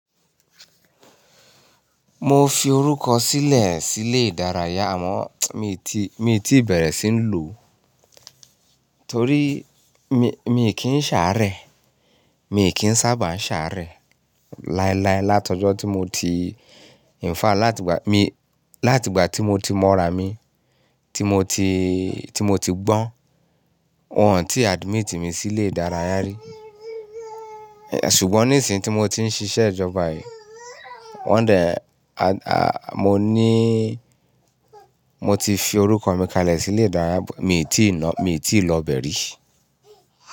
Mo fi orúkọ sílẹ̀ sí ilé ìdárayá àmọ́ mi ò tí, mi ò tí bẹ̀rẹ̀ sí ń lò torí mi, mi kì ń ṣàárẹ̀. Mi kì ń sábà ń ṣàárẹ̀ láéláé látọ̀jọ́ tí mo ti-- in fact láti ìgbà mi, láti ìgbà tí mo ti mọ ra mi, tí mo ti, tí mo ti gbọ́n, won tí admit mi sí ilé ìdárayá rí. Ṣùgbọ́n ní ìsìn tí mo ti ń ṣiṣẹ́ ìjọba yìí, won de, mo ní, mo ti fi orúkọ mi kalẹ̀ sí ilé ìdárayá, mi ò tí ì lọ, mi ò tí lọ bẹ̀e rí.